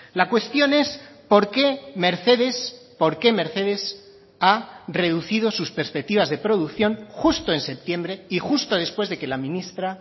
la cuestión es porqué mercedes porqué mercedes ha reducido sus perspectivas de producción justo en septiembre y justo después de que la ministra